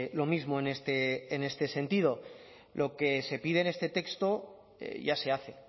lo mismo en este sentido lo que se pide en este texto ya se hace